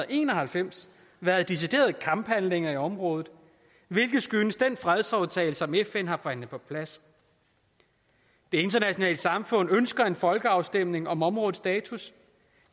en og halvfems været deciderede kamphandlinger i området hvilket skyldes den fredsaftale som fn har forhandlet på plads det internationale samfund ønsker en folkeafstemning om områdets status